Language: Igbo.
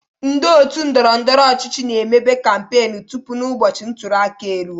Ndị otu ndọrọndọrọ ọchịchị na-emebe kampen tupu n'ụbọchị ntulịaka e ruo.